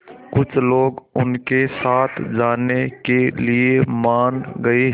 कुछ लोग उनके साथ जाने के लिए मान गए